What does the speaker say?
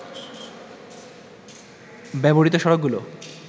ব্যবহৃত সড়কগুলো